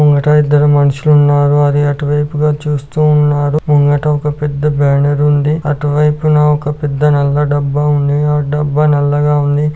ముంగట ఇద్దరు మనుషులు ఉన్నారుఅది అటువైపుగా చూస్తూ ఉన్నాడు ముంగట ఒక పెద్ద బ్యానర్ ఉంది అటువైపున ఒక పెద్ద నల్ల డబ్బా ఉంద. ఆ డబ్బా నల్లగా ఉంది.